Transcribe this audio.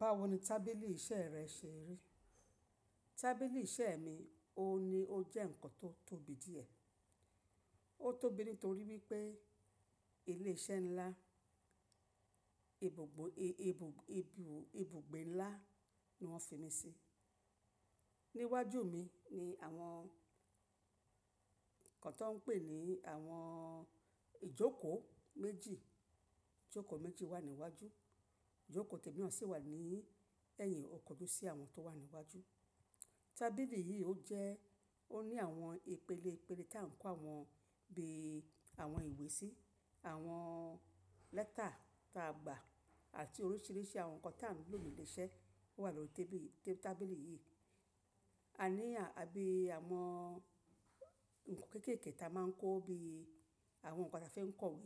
Báwo ni tábìlì iṣẹ́ rẹ ṣe rí? Tábìlì iṣẹ́ mi ò ní ó jẹ́ nǹkan tó tóbi díẹ̀. Ó tóbi nítorí wípé ilé iṣẹ́ ńlá, ibùgbé ńlá ni wọ́n fi mi sí. Ni iwájú mi ni àwọn nǹkan tó ń pè ní àwọn ìjókòó méjì, ìjókòó méjì wà ní iwájú, ìjókòó tẹ̀mí na sì wà ní ẹ̀yìn ọ̀kọ̀ tó sí àwọn tó wà ní iwájú. Tábìlì yìí ó jẹ́, ó ní àwọn ìpele ìpele ta ń kó àwọn bí i àwọn ìwé sí, àwọn lẹ́tà ta a gbà àti oríṣìíríṣìí àwọn nǹkan ta ń lò ní ilé iṣẹ́ wà lórí tébìlì, tabili yìí. A ní àbí àwọn nǹkan kẹ́kẹ̀ké ta máa ń kó bí i àwọn nǹkan ta fi ń kọ̀wé